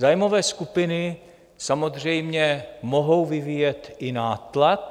Zájmové skupiny samozřejmě mohou vyvíjet i nátlak.